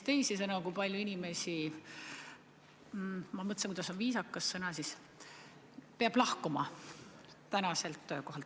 Teisisõnu, kui palju inimesi – ma mõtlen, kuidas on viisakas seda sõnastada – peab oma töökohalt lahkuma?